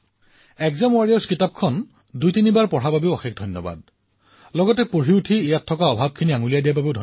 আৰু পঢ়াৰ সময়ত তাত কিহৰ অভাৱ হৈছে সেয়াও মোক কোৱা বাবে অশেষ ধন্যবাদ আৰু লগতে মোৰ এই কণমানি মিত্ৰই মোক এটা দায়িত্বও প্ৰদান কৰিলে